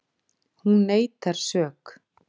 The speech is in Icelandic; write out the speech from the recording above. Hún neitar sök